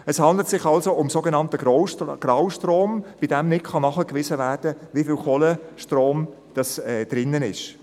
Es handelt sich also um sogenannten Graustrom, bei welchem nicht nachgewiesen werden kann, wie viel Kohlestrom enthalten ist.